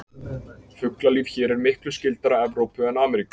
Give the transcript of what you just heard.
Fuglalíf hér er miklu skyldara Evrópu en Ameríku.